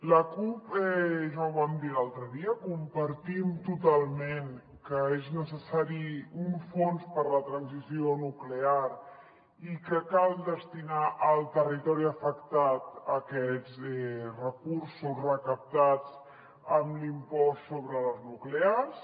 la cup ja ho vam dir l’altre dia compartim totalment que és necessari un fons per a la transició nuclear i que cal destinar al territori afectat aquests recursos recaptats amb l’impost sobre les nuclears